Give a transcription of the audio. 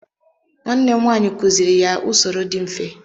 nwanne m nwanyi kuziri ya usoro di mfe